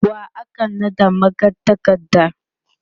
wa aka naɗa magatakarda?